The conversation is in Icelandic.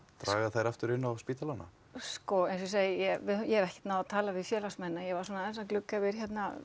draga þær aftur inn á spítalana sko eins og ég segi ég hef ekkert náð að tala við félagsmennina ég var svona aðeins að glugga yfir